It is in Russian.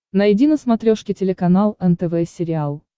найди на смотрешке телеканал нтв сериал